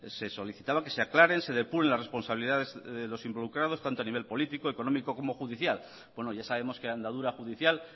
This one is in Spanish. se solicitaba que se aclaren se depuren las responsabilidades de los involucrados tanto a nivel político económico como judicial buenos ya sabemos que la andadura judicial